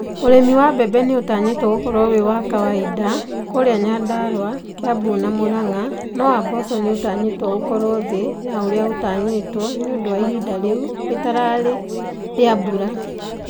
Ũrĩmi wa mbembe nĩ ũtanyitwo gũkorwo wĩ wa kawaida kũria Nyandarua, Kiambu na Muranga, no wa mboco nĩ ũtanyitwo ũkorwo thĩ ya ũrĩa ũtanyitwo nĩ ũndũ wa ihinda rĩu rĩtarĩ rĩa mbura.